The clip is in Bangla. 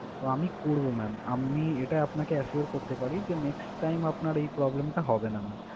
তো আমি করবো ma'am আমি এটা আপনাকে assure করতে পারি যে next time আপনার এই problem টা হবে না ma'am